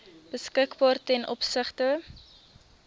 beskikbaar ten opsigte